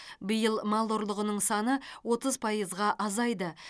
биыл мал ұрлығының саны отыз пайызға азайды